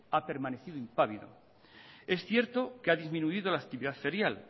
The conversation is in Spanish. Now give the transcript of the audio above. ha permanecido impávido es cierto que ha disminuido la actividad ferial